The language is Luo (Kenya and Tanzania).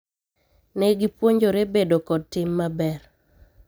ne gipuonjore bedo kod tim maber